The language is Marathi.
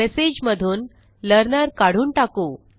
मेसेज मधून लर्नर काढून टाकू